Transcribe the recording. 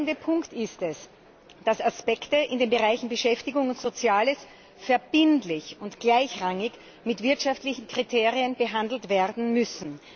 Der entscheidende Punkt ist, dass Aspekte in den Bereichen Beschäftigung und Soziales verbindlich und gleichrangig mit wirtschaftlichen Kriterien behandelt werden müssen.